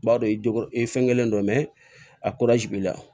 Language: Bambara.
B'a dɔn i jo i fɛn kelen don a b'i la